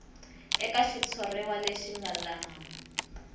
eka xitshuriwa lexi nga laha